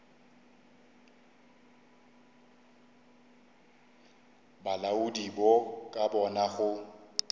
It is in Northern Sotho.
bolaodi bo ka bona go